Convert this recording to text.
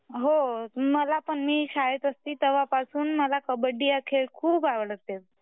अ हो मला पण मी शाळेत असती तेव्हापासून मला कबड्डी हा खेळ खूप आवडते.